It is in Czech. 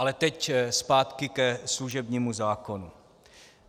Ale teď zpátky ke služebnímu zákonu.